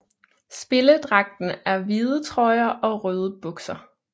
Spilledragten er hvide trøjer og røde bukser